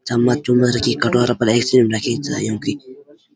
चम्मच चुम्मच रखीं कटोरा फर एसक्रीम रखीं छा युन्की।